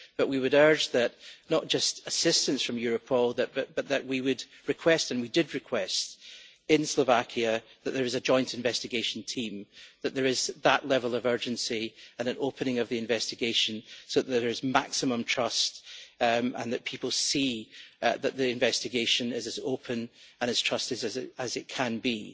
But we would urge not just assistance from Europol, but we would request and we did request in Slovakia that there is a joint investigation team and that there is that level of urgency and an opening of the investigation so that there is maximum trust and people see that the investigation is as open and as trusted as it can be.